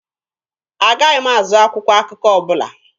Agaghị m azụ akwụkwọ akụkọ ọbụla.